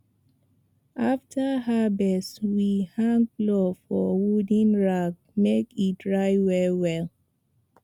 after harvest we hang plow for wooden rack make e dry well well